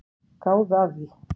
Gáðu að því.